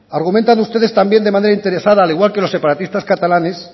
argumentan ustedes también de manera interesada al igual que los separatistas catalanes